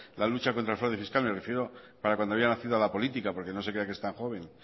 la lucha contra le fraude fiscal me refiero para cuando había nacido a la política porque no se crea que es tan joven